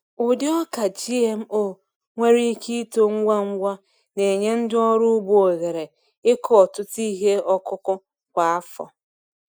Ụdị ọka GMO nwere ike ito ngwa ngwa, na-enye ndị ọrụ ugbo ohere ịkụ ọtụtụ ihe ọkụkụ kwa afọ.